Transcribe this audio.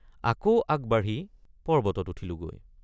আকৌ আগবাঢ়ি পৰ্বতত উঠিলোগৈ।